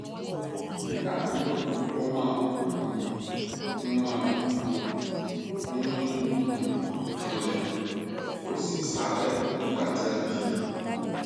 nígbà míràn ó máa um ń máa um ń mí um kanlẹ ó sì ṣàárẹ nígbà tí a bí i